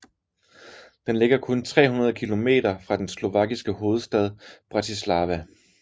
Den ligger kun 300 kilometer fra den slovakiske hovedstad Bratislava